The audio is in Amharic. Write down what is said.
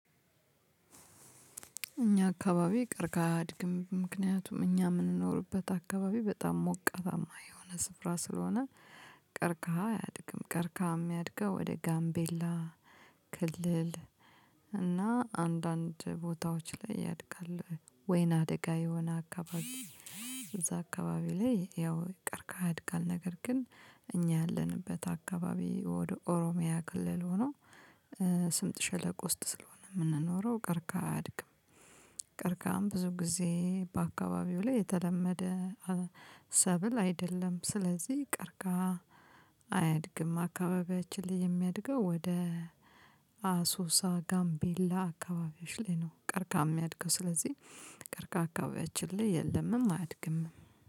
እኛ አካባቢ ቀርቅሃ አያድግም። ምክንያቱም እኛ የምንኖርበት አካባቢ በጣም ሞቃታማ የሆነ ስፍራ ስለሆነ ቀርቅሃ አያድግም። ቀርቅሃ የሚያድገው ወደ ጋምቤላ ክልል እና አንዳንድ ቦታዎች ላይ ያድጋል። ወይና ደጋ የሆነ አካባቢ እዛ አካባቢ ላይ ያው ቀርቅሃ ያድጋል። ነገር ግን እኛ ያለንበት አካባቢ ወደ ኦሮሚያ ክልል ሆኖ ስምጥ ሸለቆ ውስጥ ስለሆነ የምንኖረው ቀርቅሃ አያድግም። ቀርቅሃ ብዙ ጊዜ በአካባቢው ላይ የተለመደ ሰብል አይደለም ስለዚህ ቀርቅሃ አያድግም። አካባቢያችን ላይ የሚያድገው ወደ አሶሳ ጋምቤላ አካባቢዎች ላይ ነው። ቀርቅሃ የሚያድገው ስለዚህ ቀርቅሃ አካባቢያችን ላይ የለምም አያድግምም